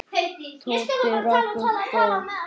Tóti rak upp gól.